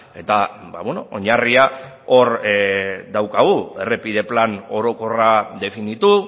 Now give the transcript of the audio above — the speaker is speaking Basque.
eta oinarria hor daukagu errepide plan orokorra definitu